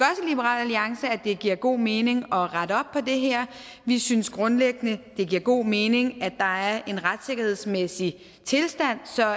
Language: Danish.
liberal alliance at det giver god mening at rette op på det her vi synes grundlæggende det giver god mening at der er en retssikkerhedsmæssig tilstand så